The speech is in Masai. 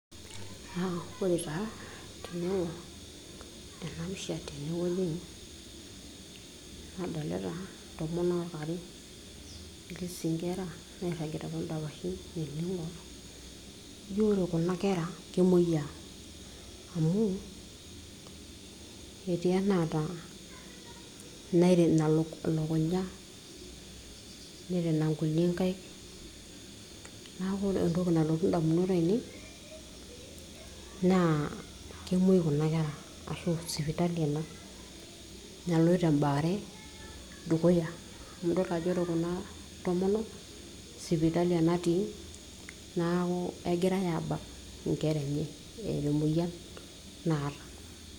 uh, ore taa tenaing'orr ena pisha tenewoi nadolita intomonok are etii sii inkera nairragita toondapashi oleng njio ore kuna kera kemoyiaa amu ketii enaata enairina elukunya nirina nkulie nkaik naku ore entoki nalotu indamunot ainei naa kemuoi kuna kera ashu sipitali ena naloito embaare dukuya amu idol ajo ore kuna tomonok sipitali enatii naku egirae abak inkera enye eeta emoyian naata.